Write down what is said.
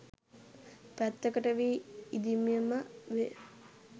පැත්තකට වී ඉඳීමම වේ